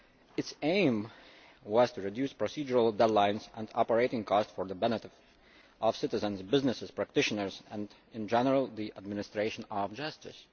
Its aim was to reduce procedural deadlines and operating costs for the benefit of citizens, businesses, practitioners and, in general, the administration of justice.